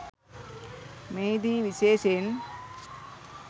මෙහිදී විශේෂයෙන්